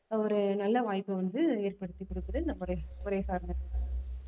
ஒரு நல்ல வாய்ப்பை வந்து ஏற்படுத்திக் கொடுக்குது இந்த முறை முறை சார்ந்த கல்வி